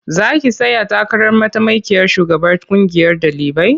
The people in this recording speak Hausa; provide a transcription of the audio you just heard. Za ki tsaya takarar mataimakiyar shugabar ƙungiyar ɗalibai?